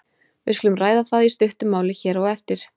Við skulum ræða það í stuttu máli hér á eftir.